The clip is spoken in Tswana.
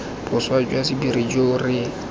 boswa jwa sephiri jo re